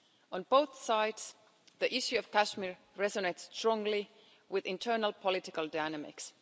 On both sides, the issue of Kashmir resonates strongly with internal political dynamics.